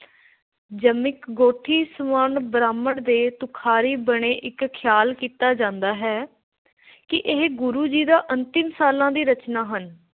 ਬ੍ਰਾਹਮਣ ਦੇ ਤੁਖ਼ਾਰੀ ਬਣੇ ਇੱਕ ਖ਼ਿਆਲ ਕੀਤਾ ਜਾਂਦਾ ਹੈ ਕਿ ਇਹ ਗੁਰੂ ਜੀ ਦਾ ਅੰਤਿਮ ਸਾਲਾਂ ਦੀ ਰਚਨਾ ਹਨ ।